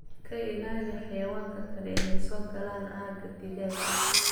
Ka ilaali xayawaanka kale inay soo galaan aagga digaaga.